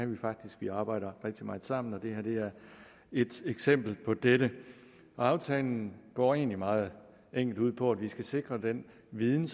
vi faktisk vi arbejder rigtig meget sammen og det her er et eksempel på dette aftalen går egentlig meget enkelt ud på at vi skal sikre at den viden